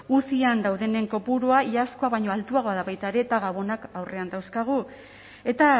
uzian daudenen kopurua iazkoa baino altuagoa da baita ere eta gabonak aurrean dauzkagu eta